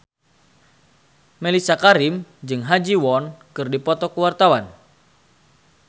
Mellisa Karim jeung Ha Ji Won keur dipoto ku wartawan